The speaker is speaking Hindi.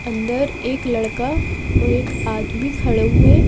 अंदर एक लड़का और एक आदमी खड़े हुए--